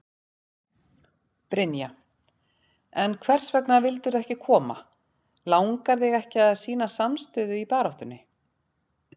Brynja: En hvers vegna vildirðu ekki koma, langar þig ekki að sýna samstöðu í baráttunni?